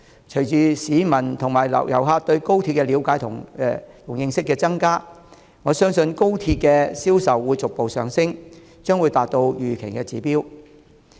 隨着市民和遊客對高鐵的了解和認識增加，我相信高鐵車票的銷售會逐步上升，達到預期的指標。